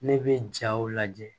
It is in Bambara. Ne bɛ jaw lajɛ